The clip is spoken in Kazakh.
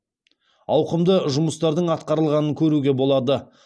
ауқымды жұмыстардың атқарылғанын көруге болады